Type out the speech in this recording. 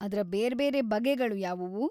ಅದ್ರ ಬೇರ್ಬೇರೆ ಬಗೆಗಳು ಯಾವುವು?